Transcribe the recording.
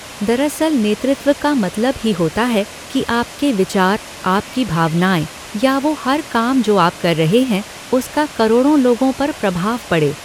दरअसल नेतृत्व का मतलब ही होता है कि आपके विचार, आपकी भावनाएं या वो हर काम जो आप कर रहे हैं उसका करोड़ो लोगों पर प्रभाव पड़े।